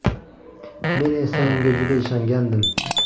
Men esa unga juda ishongandim.